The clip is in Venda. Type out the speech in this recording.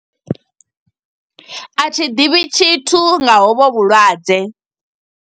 A thi ḓivhi tshithu nga ho vho vhulwadze.